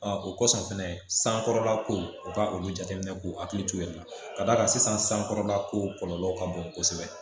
o kɔsɔn fɛnɛ sankɔrɔla ko u ka olu jateminɛ k'u hakili to u yɛrɛ la ka d'a kan sisan sankɔrɔla ko kɔlɔlɔw ka bon kosɛbɛ